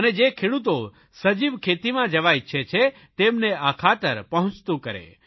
અને જે ખેડૂતો સજીવખેતીમાં જવા ઇચ્છે છે તેમને આ ખાતર પહોંચતું કરે